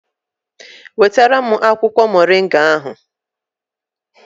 Wetara m akwụkwọ Moringa ahụ!